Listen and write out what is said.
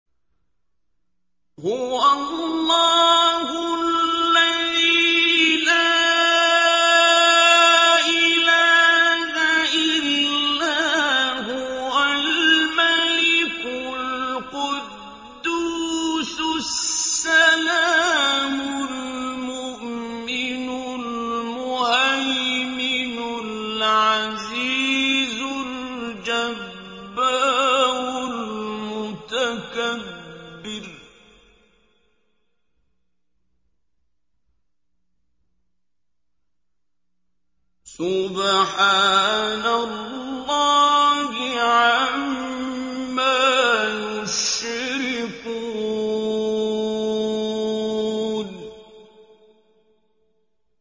هُوَ اللَّهُ الَّذِي لَا إِلَٰهَ إِلَّا هُوَ الْمَلِكُ الْقُدُّوسُ السَّلَامُ الْمُؤْمِنُ الْمُهَيْمِنُ الْعَزِيزُ الْجَبَّارُ الْمُتَكَبِّرُ ۚ سُبْحَانَ اللَّهِ عَمَّا يُشْرِكُونَ